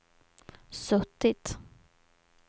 suttit